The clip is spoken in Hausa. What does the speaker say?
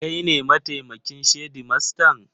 Kai ne mataimakin shedimastan?